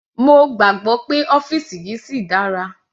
Mo gbàgbọ́ pé ọ́fìsì yìí síi dára.